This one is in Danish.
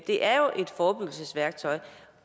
det er jo et forebyggelsesværktøj